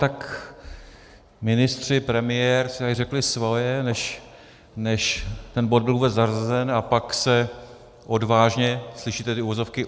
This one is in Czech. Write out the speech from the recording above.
Tak ministři, premiér si tady řekli svoje, než ten bod byl vůbec zařazen, a pak se odvážně - slyšíte ty uvozovky?